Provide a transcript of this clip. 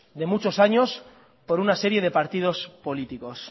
de muchos años por una serie de partidos políticos